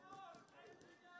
Bilirsən ki, sən yəni, sən.